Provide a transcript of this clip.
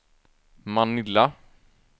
Manila